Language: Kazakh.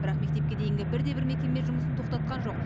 бірақ мектепке дейінгі бір де бір мекеме жұмысын тоқтатқан жоқ